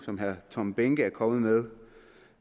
som herre tom behnke tidligere er kommet